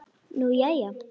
Nú, jæja.